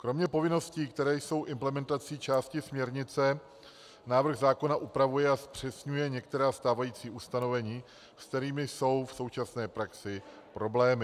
Kromě povinností, které jsou implementací části směrnice, návrh zákona upravuje a zpřesňuje některá stávající ustanovení, s kterými jsou v současné praxi problémy.